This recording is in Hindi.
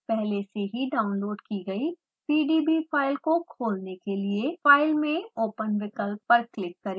पहले से ही डाउनलोड की गयी pdb फाइल को खोलने के लिए file में open विकल्प पर क्लिक करें